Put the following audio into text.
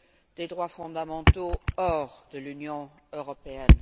des droits fondamentaux hors de l'Union européenne.